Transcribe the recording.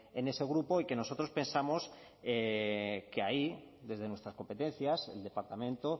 en ese grupo y que nosotros pensamos que ahí desde nuestras competencias el departamento